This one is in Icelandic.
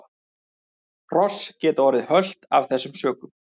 Hross geta orðið hölt af þessum sökum.